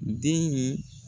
Den ye